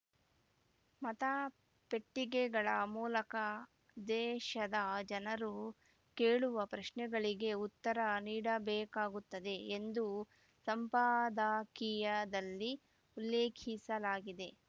ಮತ ಪೆಟ್ಟಿಗೆಗಳ ಮೂಲಕ ದೇಶದ ಜನರು ಕೇಳುವ ಪ್ರಶ್ನೆಗಳಿಗೆ ಉತ್ತರ ನೀಡಬೇಕಾಗುತ್ತದೆ ಎಂದು ಸಂಪಾದಕೀಯದಲ್ಲಿ ಉಲ್ಲೇಖಿಸಲಾಗಿದೆ